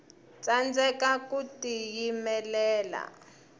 tsandeka ku tiyimelela